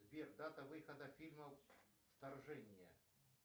сбер дата выхода фильма вторжение